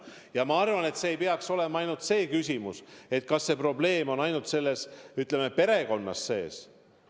Ja ma arvan, et probleem ei pruugi olla ainult konkreetses perekonnas sees.